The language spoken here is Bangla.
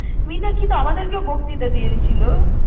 মীনাক্ষী তো আমাদেরকেও বক্তিতা দিয়েছিলো।